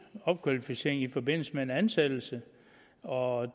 en opkvalificering i forbindelse med en ansættelse og